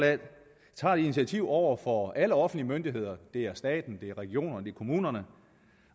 tager et initiativ over for alle offentlige myndigheder det er staten det er regionerne kommunerne